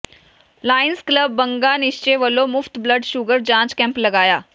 Lions club Banga Nishchay ਵਲੋਂ ਮੁਫ਼ਤ blood sugar ਜਾਂਚ ਕੈਂਪ ਲਗਾਇਆ